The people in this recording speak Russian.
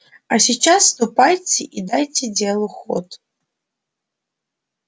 а сейчас ступайте и дайте делу ход